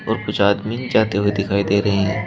और कुछ आदमी जाते हुए दिखाई दे रहे हैं।